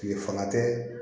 Tile fanga tɛ